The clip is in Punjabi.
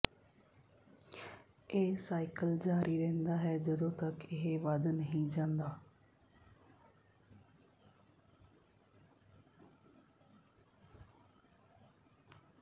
ਇਹ ਸਾਈਕਲ ਜਾਰੀ ਰਹਿੰਦਾ ਹੈ ਜਦੋਂ ਤਕ ਇਹ ਵੱਧ ਨਹੀਂ ਜਾਂਦਾ